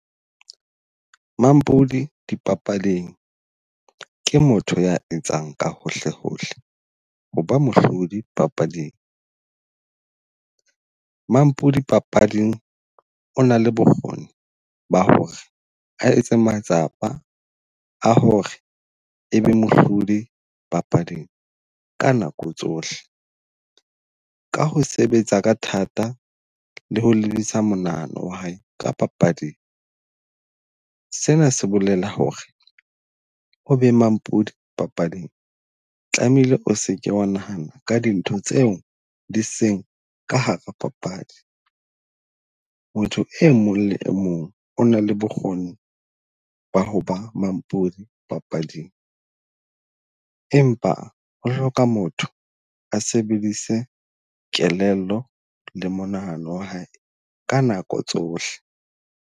Mampudi dipapading ke motho ya etsang ka hohle hohle ho ba mohlodi papading. Mampudi papading o na le bokgoni ba hore a etse matsapa a hore e be mohlodi papading ka nako tsohle, ka ho sebetsa ka thata le ho lebisa monahano wa hae ka papading. Sena se bolela hore o be mampodi papading tlameile o seke wa nahana ka dintho tseo di seng ka hara papadi. Motho e mong le mong o na le bokgoni ba hoba mampudi papading, empa ho hloka motho a sebedise kelello le monahano wa hae ka nako tsohle.